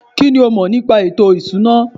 kínní o mọ̀ nípa ètò ìṣúná?